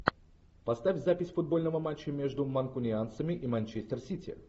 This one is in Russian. поставь запись футбольного матча между манкунианцами и манчестер сити